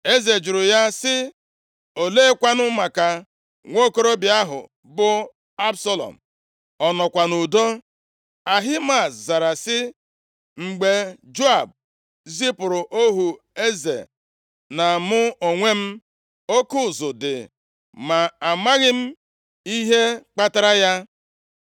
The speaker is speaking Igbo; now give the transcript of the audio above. Eze jụrụ ya sị, “Oleekwanụ maka nwokorobịa ahụ bụ Absalọm? Ọ nọkwa nʼudo?” Ahimaaz zara sị, “Mgbe Joab zipụrụ ohu eze, na mụ onwe m, oke ụzụ dị, ma amaghị m ihe kpatara ya.”